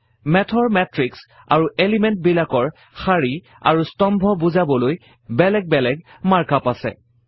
Math ৰ মাতৃশ আৰু এলিমেণ্ট বিলাকৰ শাৰী আৰু স্তম্ভ বুজাবলৈ বেলেগ বেলেগ মাৰ্ক আপ আছে